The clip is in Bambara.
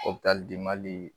Opilali di mali